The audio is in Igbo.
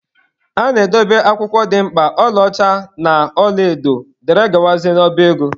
A na-edobe akwụkwọ dị mkpa, ọla ọcha na ọla edo dgz n'ọba ego.